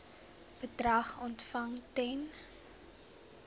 bedrag ontvang ten